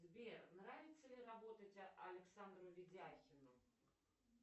сбер нравится ли работать александру видяхину